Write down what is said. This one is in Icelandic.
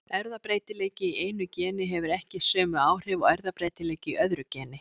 Erfðabreytileiki í einu geni hefur ekki sömu áhrif og erfðabreytileiki í öðru geni.